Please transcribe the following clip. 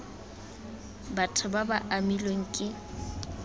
batho ba ba amilweng ke